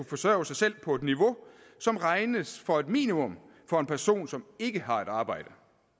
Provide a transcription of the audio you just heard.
forsørge sig selv på et niveau som regnes for et minimum for en person som ikke har et arbejde